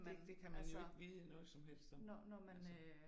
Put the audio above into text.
Det det kan man jo ikke vide noget som helst om altså